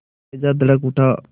कलेजा धड़क उठा